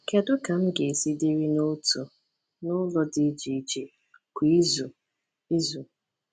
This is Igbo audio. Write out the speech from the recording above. Kedu ka m ga-esi dịrị n’otu n’ụlọ dị iche iche kwa izu? izu?